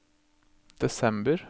desember